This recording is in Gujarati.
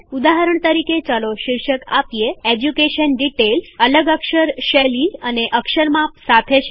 ઉદાહરણ તરીકે ચાલો શીર્ષક આપીએ એજ્યુકેશન ડીટેઈલ્સ અલગ અક્ષર શૈલી અને અક્ષર માપ સાથે છે